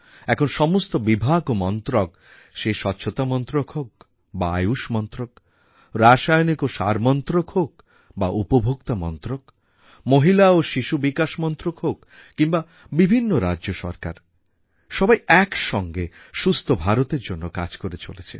এখন সমস্ত বিভাগ ও মন্ত্রক সে স্বচ্ছতা মন্ত্রক হোক বা আয়ুষ মন্ত্রক রাসায়ণিক ও সার মন্ত্রক হোক বা উপভোক্তা মন্ত্রক মহিলা ও শিশুবিকাশ মন্ত্রক হোক কিংবা বিভিন্ন রাজ্য সরকারসবাই এক সঙ্গে সুস্থ ভারতএর জন্য কাজ করে চলেছে